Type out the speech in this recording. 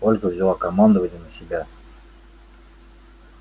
ольга взяла командование на себя